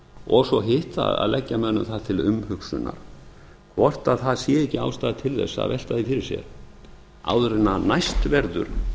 og svo hitt að leggja mönnum það til umhugsunar hvort það sé ekki ástæða til þess að velta því fyrir sér áður en næst verður